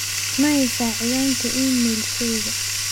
Ma haysaa ciwaanka iimaylkeyga?